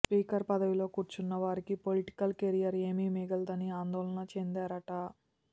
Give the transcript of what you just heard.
speaker పదవిలో కూర్చున్నవారికి political career ఏమీ మిగలదని ఆందోళన చెందారట